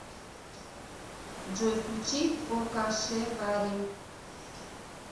джой включи покашеварим